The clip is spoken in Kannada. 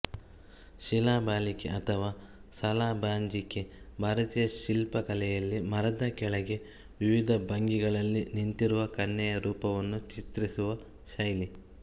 ಶಿಲಾಬಾಲಿಕೆ ಅಥವಾ ಸಲಾಬಾಂಜಿಕೆ ಭಾರತೀಯ ಶಿಲ್ಪಕಲೆಯಲ್ಲಿ ಮರದ ಕೆಳಗೆ ವಿವಿಧ ಭಂಗಿಗಳಲ್ಲಿ ನಿಂತಿರುವ ಕನ್ಯೆಯ ರೂಪವನ್ನು ಚಿತ್ರಿಸುವ ಶೈಲಿ